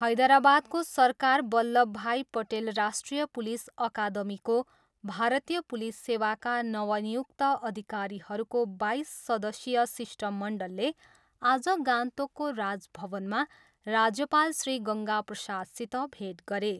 हैदराबादको सरकार बल्लभभाई पटेल राष्ट्रिय पुलिस अकादमीको भारतीय पुलिस सेवाका नवनियुक्त अधिकारीहरूको बाइस सदस्यीय शिष्टमण्डलले आज गान्तोकको राजभवनमा राज्यपाल श्री गङ्गा प्रसादसित भेट गरे।